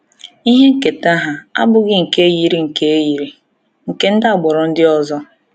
Ihe nketa ha abụghị nke yiri nke yiri nke ndị agbụrụ ndị ọzọ.